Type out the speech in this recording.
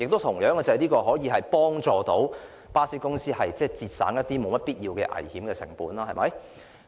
同時，這也可以幫助巴士公司節省一些沒必要的危險成本，對嗎？